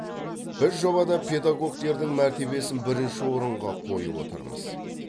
біз жобада педагогтердің мәртебесін бірінші орынға қойып отырмыз